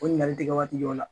O ɲininkali tɛ kɛ waati jɔw la